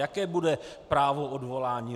Jaké bude právo odvolání?